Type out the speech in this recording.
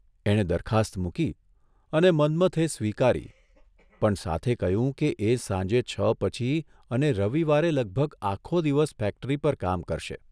એણે દરખાસ્ત મૂકી અને મન્મથે સ્વીકારી પણ સાથે કહ્યું કે એ સાંજે છ પછી અને રવિવારે લગભગ આખો દિવસ ફેક્ટરી પર કામ કરશે.